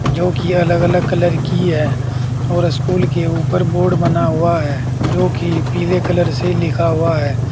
जो कि अलग अलग कलर की है और स्कूल के ऊपर बोर्ड बना हुआ है जो की पीले कलर से लिखा हुआ है।